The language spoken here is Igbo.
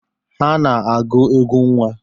Ha na-agụ egwu nnwa.